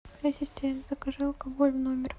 ассистент закажи алкоголь в номер